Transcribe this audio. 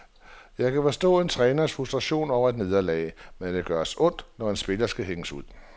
Jeg kan forstå en træners frustration over et nederlag, men det gør os ondt, når en spiller skal hænges ud.